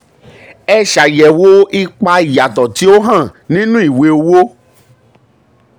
um ẹ um ẹ ṣàyẹ̀wò ipa ìyàtọ̀ tí ó hàn nínú ìwé owó.